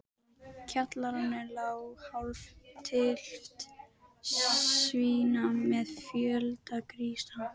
Af hverju fórstu ekki til Kanaríeyja, Nikki?